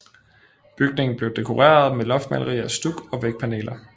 Bygningen blev dekoreret med loftmalerier stuk og vægpaneler